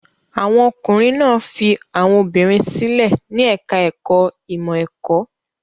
Àwọn ọkùnrin náà fi àwọn obìnrin sílẹ̀ ní ẹ̀ka-ẹ̀kọ́ ìmọ̀-ẹ̀kọ́.